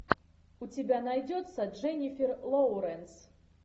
у тебя найдется дженнифер лоуренс